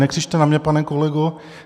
Nekřičte na mě, pane kolego!